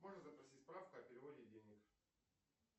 можешь запросить справку о переводе денег